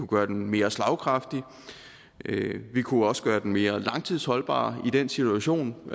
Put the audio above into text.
gøre den mere slagkraftig vi kunne også gøre den mere langtidsholdbar i den situation